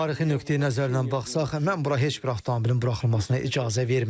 Tarixi nöqteyi-nəzərdən baxsaq, mən bura heç bir avtomobilin buraxılmasına icazə verməzdim.